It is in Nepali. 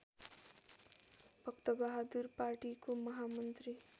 भक्तबहादुर पार्टीको महामन्त्री